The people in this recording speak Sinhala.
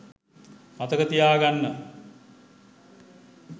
මතක තියා ගන්න.